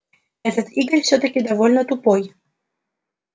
этот игорь всё-таки довольно тупой